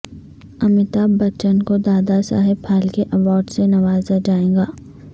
امیتابھ بچن کو دادا صاحب پھالکے ایوارڈ سے نوازا جائے گا